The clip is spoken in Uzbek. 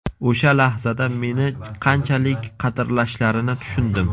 O‘sha lahzada meni qanchalik qadrlashlarini tushundim.